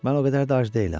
Mən o qədər də ac deyiləm.